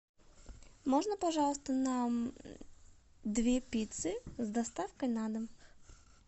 можно пожалуйста нам две пиццы с доставкой на дом